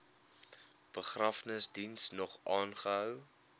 begrafnisdiens nog aangehou